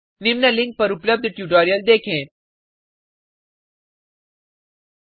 निम्न लिंक पर उपलब्ध ट्यूटोरियल को देखें यह स्पोकन ट्यूटोरियल प्रोजेक्ट को सारांशित करता है